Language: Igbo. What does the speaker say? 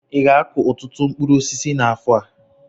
Ị ga-akụ ọtụtụ mkpụrụ osisi n'afọ a?